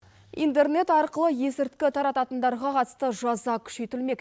интернет арқылы есірткі тарататындарға қатысты жаза күшейтілмек